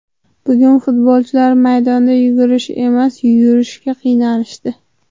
Bugun futbolchilar maydonda yugurish emas, yurishga qiynalishdi.